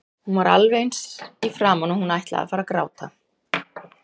Hún var alveg eins í framan og hún ætlaði að fara að gráta.